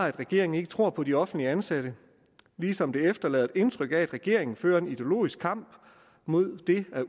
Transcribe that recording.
at regeringen ikke tror på de offentligt ansatte ligesom det efterlader det indtryk at regeringen blot fører en ideologisk kamp mod det at